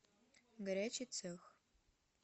горячий цех